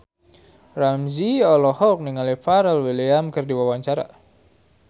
Ramzy olohok ningali Pharrell Williams keur diwawancara